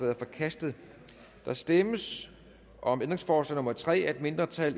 er forkastet der stemmes om ændringsforslag nummer tre af et mindretal